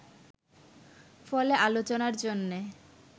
ফলে আলোচনার জন্যে